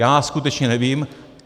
Já skutečně nevím.